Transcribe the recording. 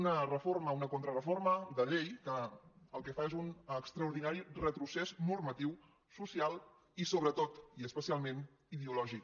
una reforma una contrareforma de llei que el que fa és un extraordinari retrocés normatiu social i sobretot i especialment ideològic